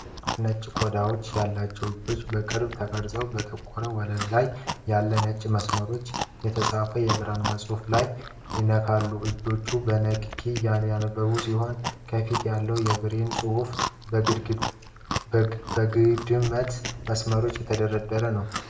ሁለት ነጭ ቆዳ ያላቸው እጆች በቅርበት ተቀርጸው በጠቆረ ወለል ላይ ያለ ነጭ መስመሮች የተጻፈ የብሬይል ጽሑፍ ላይ ይነካሉ። እጆቹ በንክኪ እያነበቡ ሲሆን፣ ከፊት ያለው የብሬይል ጽሑፍ በአግድመት መስመሮች የተደረደረ ነው።